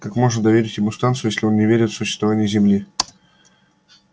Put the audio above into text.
как можно доверить ему станцию если он не верит в существование земли